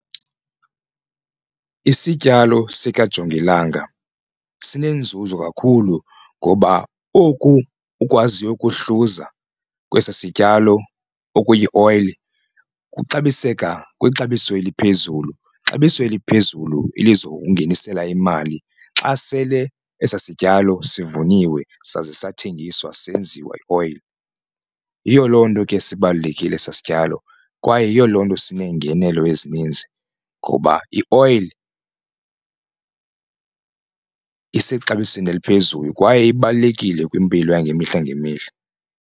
Isityalo sikajongilanga sinenzuzo kakhulu ngoba oku ukwaziyo ukuhluza kwesi sityalo okuyi ioyile kuxabiseka kwixabiso eliphezulu, xabiso eliphezulu elizokungenisela imali xa sele esaa sityalo sivuniwe saze sathenjiswa senziwa ioyile. Yiyo loo nto ke sibalulekile eso sityalo kwaye yiyo loo nto sineengenelo ezininzi ngoba ioyile isexabisweni eliphezulu kwaye ibalulekile kwimpilo yangemihla ngemihla.